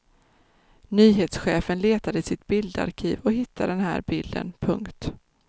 Nyhetschefen letade i sitt bildarkiv och hittade den här bilden. punkt